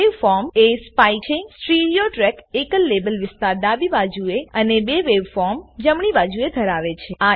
waveformsવેવફોર્મ એ સ્પાઈક છેસ્ટીરીઓ ટ્રેક એકલ લેબલ વિસ્તાર ડાબી બાજુએ અને બે વેવફોર્મ જમણી બાજુએ ધરાવે છે